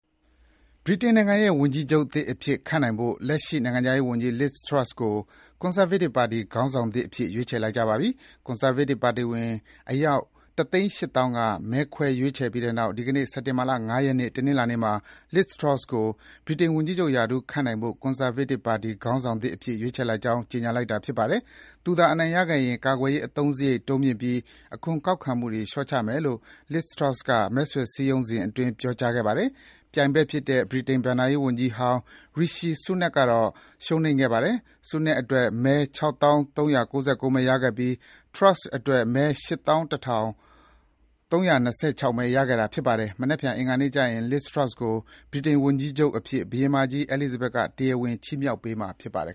ဗြိတိန်နိုင်ငံရဲ့ဝန်ကြီးချုပ်သစ်အဖြစ်ခန့်အပ်နိုင်ဖို့ လက်ရှိနိုင်ငံခြားရေးဝန်ကြီး Liz Truss ကို ကွန်ဆာဗေးတစ်ပါတီခေါင်းဆောင်သစ်အဖြစ် ရွေးချယ်လိုက်ပါပြီ။ ကွန်ဆာဗေးတစ်ပါတီဝင် အယောက် ၁၈၀,၀၀၀ က မဲခွဲရွေးချယ်ပြီးနောက် ဒီနေ့ စက်တင်ဘာလ ၅ ရက်နေ့ တနင်္လာနေ့မှာ Liz Truss ကို ဗြိတိန်ဝန်ကြီးချုပ်ရာထူးခန့်အပ်နိုင်ဖို့ ကွန်ဆာဗေးတစ်ပါတီခေါင်းဆောင်သစ်အဖြစ် ရွေးချယ်လိုက်ကြောင်း ကြေညာလိုက်ပါတယ်။ သူသာအနိုင်ရခဲ့ရင် ကာကွယ်ရေးအသုံးစရိတ်တိုးမြှင့်ပြီး အခွန်ကောက်ခံမှုတွေ လျှော့ချမယ်လို့ Liz Truss က မဲဆွယ်စည်းရုံးစဉ်အတွင်း ပြောခဲ့ပါတယ်။ ပြိုင်ဘက်ဖြစ်တဲ့ ဗြိတိန်ဘဏ္ဍာရေးဝန်ကြီးဟောင်း Rishi Sunak ကတော့ ရှုံးနိမ့်ခဲ့ပါတယ်။ Sunak အတွက် မဲ ၆,၃၉၉ မဲ ရခဲ့ပြီးTruss အတွက် မဲ ၈,၁၃၂၆ မဲ ရခဲ့တာပါ။ မနက်ဖြန် အင်္ဂါနေ့ကျရင် Liz Truss ကို ဗြိတိန်ဝန်ကြီးချုပ်အဖြစ် ဘုရင်မကြီး Elizabeth က တရားဝင် ခန့်အပ် ချီးမြှောက်ပေးမှာ ဖြစ်ပါတယ်